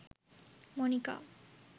monika